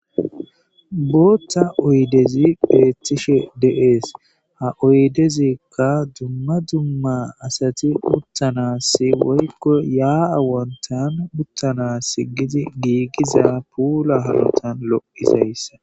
Botha oyidezi betishe deyesi. Ha oyidezika duma duma asati uttanasi woyiko yaa wontani utanasi gigiza pula hanotani loyizayisa